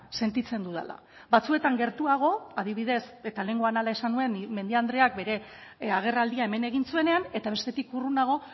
sentitzen dudala batzuetan gertuago adibidez eta lehengoan hala esan nuen mendia andreak bere agerraldia hemen egin zuenean eta bestetik urrunago